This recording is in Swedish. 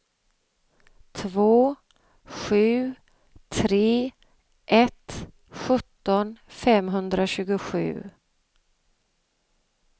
två sju tre ett sjutton femhundratjugosju